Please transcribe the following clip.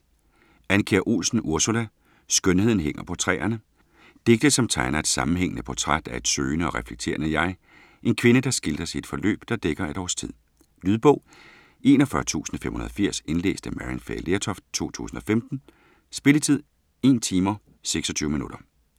Andkjær Olsen, Ursula: Skønheden hænger på træerne Digte som tegner et sammenhængende portræt af et søgende og reflekterende jeg, en kvinde der skildres i et forløb der dækker et års tid. Lydbog 41580 Indlæst af Maryann Fay Lertoft, 2015. Spilletid: 1 timer, 26 minutter.